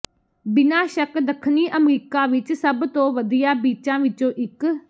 ਬਿਨਾਂ ਸ਼ੱਕ ਦੱਖਣੀ ਅਮਰੀਕਾ ਵਿਚ ਸਭ ਤੋਂ ਵਧੀਆ ਬੀਚਾਂ ਵਿਚੋਂ ਇਕ